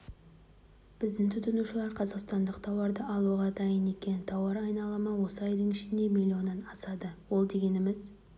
біздің тұтынушылар қазақстандық тауарды алуға дайын екен тауар айналымы осы айдың ішінде млн-нан асады ол дегеніміз